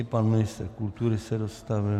I pan ministr kultury se dostavil...